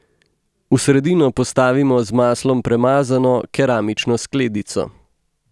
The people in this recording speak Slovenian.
V sredino postavimo z maslom premazano keramično skledico.